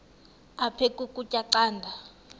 aphek ukutya canda